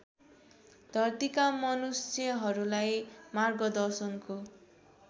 धरतीका मनुष्यहरूलाई मार्गदर्शनको